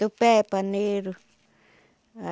Tupé, paneiro.